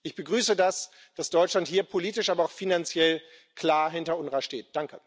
Ich begrüße es, dass Deutschland hier politisch, aber auch finanziell klar hinter dem UNWRA steht.